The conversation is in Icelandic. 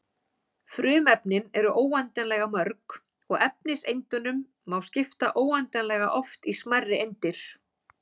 Frumefnin eru óendanlega mörg og efniseindunum má skipta óendanlega oft í smærri eindir.